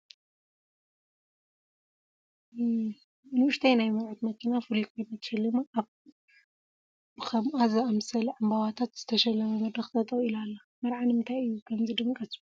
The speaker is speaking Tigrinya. ንኡሽተይ ናይ መርዑት መኪና ፍሉይ ኮይና ተሸሊማ ኣብ ብኸምአ ዝኣምሰለ ዕምበታት ዝተሸለመ መድረኽ ጠጠው ኢላ ኣላ፡፡ መርዓ ንምንታይ እዩ ከምዚ ድምቀት ዝበዝሖ?